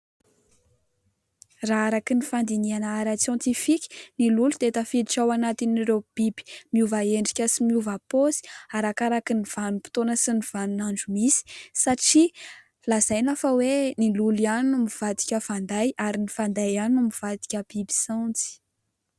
Raha araka ny fandinihana ara-tsiantifika; ny lolo dia tafiditra ao anatin'ireo biby miova endrika sy miova paozy arakaraka ny vanim-potoana sy ny vanin'andro misy satria: lazaina fa hoe ny lolo ihany no mivadika fanday ary ny fanday ihany no mivadika biby saonjo.